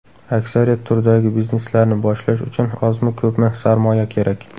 Aksariyat turdagi bizneslarni boshlash uchun ozmi-ko‘pmi sarmoya kerak.